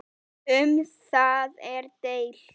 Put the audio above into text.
Um það er deilt.